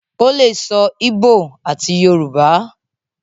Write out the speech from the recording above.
o le sọ igbó àti Yorùbá.